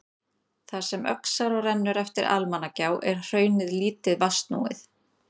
Þar sem Öxará rennur eftir Almannagjá er hraunið lítið vatnsnúið.